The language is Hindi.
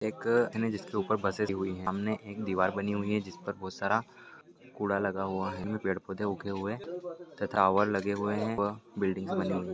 एक लोकल बस रखी हुई है। सामने एक दीवार बनी हुई है। जिसपर बहोत सारा कूड़ा लगा हुआ है। उसमे पेड़ पौधे उगे हुए है। तथा टोवर लगे हुए है। व बिल्डिंग्स बनी हुई--